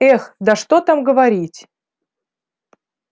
эх да что там говорить